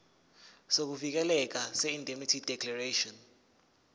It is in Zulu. sokuvikeleka seindemnity declaration